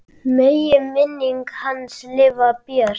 Megi minning hans lifa björt.